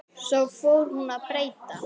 Svo fór hún að breyta.